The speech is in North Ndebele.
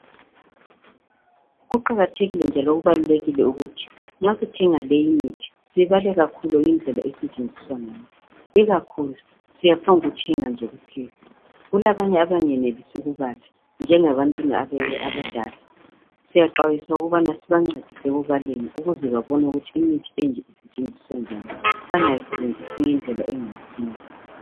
Kuqakathekile njalo kubalulekile ukuthi nxa sithenga leyi mithi sibale kakhulu indlela esetshenzisa ngayo, ikakhuku siyapho ngokuthenga nje kuphela. Kulabanye abangayenelisi ukubala, njengabantu abadala, Siyaxwayiswa ukubana sibancedise ukubaleni, ukuze babone ukuthi imithi enje isetshenziswa njani, bangayisebenzisi ngedlela engayisiyo.